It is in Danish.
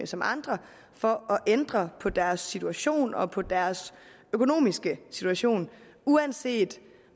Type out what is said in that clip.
som andre for at ændre på deres situation og på deres økonomiske situation uanset